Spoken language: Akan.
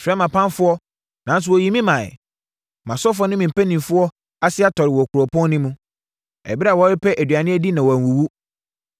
“Mefrɛɛ mʼapamfoɔ nanso wɔyii me maeɛ. Mʼasɔfoɔ ne me mpanimfoɔ ase tɔreɛ wɔ kuropɔn no mu, ɛberɛ a wɔrepɛ aduane adi na wɔanwuwu.